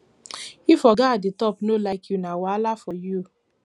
if oga at di top no like you na wahala for you